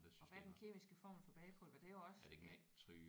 Og hvad er den kemiske formel for bagepulver? Det er jo også